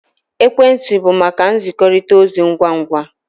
Ekwentị bụ maka nzikọrịta ozi ngwa ngwa